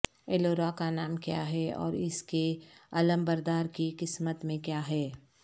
aloe vera کا نام کیا ہے اور اس کے علمبردار کی قسمت میں کیا ہے